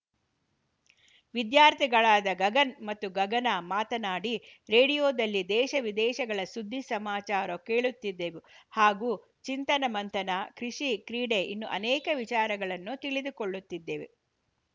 ವಿದ್ಯಾರ್ಥಿಗಳಾದ ಗಗನ್‌ ಮತ್ತು ಗಗನ ಮಾತನಾಡಿ ರೇಡಿಯೋದಲ್ಲಿ ದೇಶ ವಿದೇಶಗಳ ಸುದ್ಧಿ ಸಮಾಚಾರ ಕೇಳುತ್ತಿದ್ದೆವು ಹಾಗೂ ಚಿಂತನ ಮಂಥನ ಕೃಷಿ ಕ್ರೀಡೆ ಇನ್ನುಅನೇಕ ವಿಚಾರಗಳನ್ನು ತಿಳಿದು ಕೊಳ್ಳುತ್ತಿದ್ದೆವು